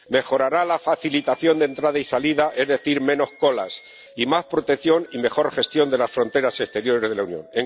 mejorará la facilitación de entrada y salida —es decir, menos colas—, y contribuirá a más protección y a una mejor gestión de las fronteras exteriores de la Unión.